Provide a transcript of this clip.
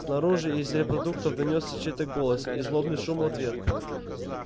снаружи из репродукторов донёсся чей-то голос и злобный шум в ответ